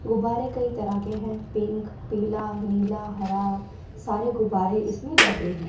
गुब्बारे कई तरह के हैं पिंक पीला नीला हरा सारे गुब्बारे इसमें लगे हैं।